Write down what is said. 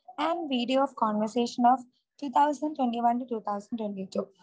and video conversation of 2021 to 2022